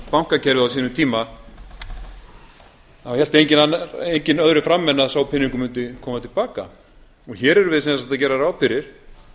bankakerfið á sínum tíma þá hélt enginn öðru fram en sá peningur mundi koma til baka og hér erum við sem sagt að gera ráð fyrir